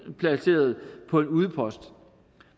placeret på en udpost